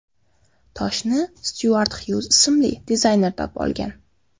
Toshni Styuart Xyuz ismli dizayner topib olgan.